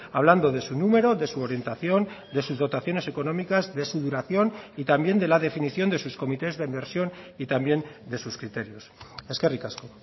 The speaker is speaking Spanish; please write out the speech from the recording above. hablando de su número de su orientación de sus dotaciones económicas de su duración y también de la definición de sus comités de inversión y también de sus criterios eskerrik asko